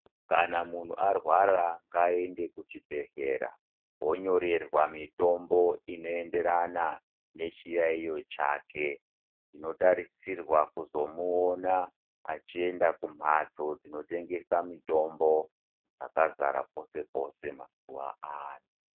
Kana muntu arwara ngaende kuchibhehlera yonyorerwa mutombo inoenderana nechiyaiyo chake. Tinotarisirwa kuzomuona achienda kumhatso dzinotengesa mutombo dzakazara pese pese.